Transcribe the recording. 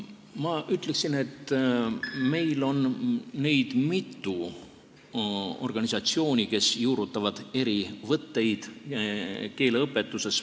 Ma ütleksin, et meil on mitu organisatsiooni, kes juurutavad keeleõpetuses eri võtteid.